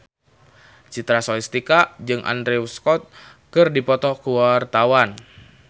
Citra Scholastika jeung Andrew Scott keur dipoto ku wartawan